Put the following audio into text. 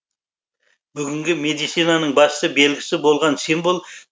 бүгінгі медицинаның басты белгісі болған символ